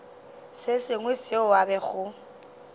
se sengwe seo a bego